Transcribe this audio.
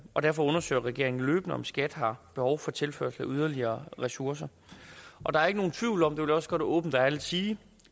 og derfor undersøger regeringen løbende om skat har behov for tilførsel af yderligere ressourcer der er ikke nogen tvivl om det vil jeg også godt åbent og ærligt sige